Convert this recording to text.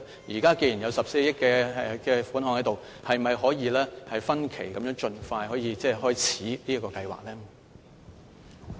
現時既然有14億元款項，是否可以分期盡快開始這個計劃呢？